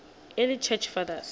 early church fathers